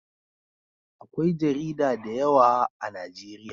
Akwai jarida da yawa a najeriya